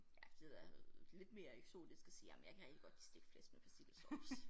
Ja det er lidt mere eksotisk at sige ej men jeg kan rigtig godt lide stegt flæsk med persillesovs